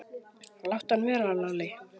Láttu hann vera, Lalli!